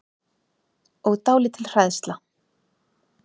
Og dálítil hræðsla.